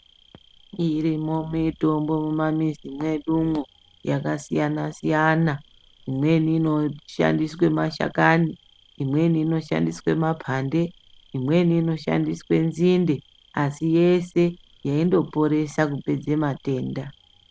Irimwo mitombo mumamizi mwedumwo yakasiyana siyana imweni inoshandiswe mashakani imweni inoshandiswe mapande imweni inoshandiswe nzinde asi yese yeindoporesa kupedze matenda.